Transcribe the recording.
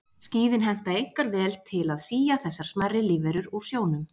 Skíðin henta einkar vel til að sía þessar smærri lífverur úr sjónum.